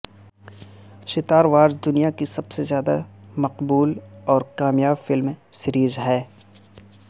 star Wars دنیا کی سب سے زیادہ مقبول اور کامیاب فلم سیریز ہے